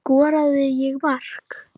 Skoraði ég mark?